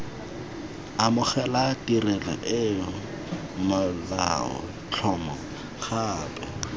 amogela tirelo eo molaotlhomo gape